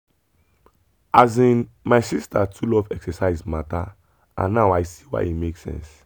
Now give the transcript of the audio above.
asin my sister too love exercise matter and now i see why e make sense.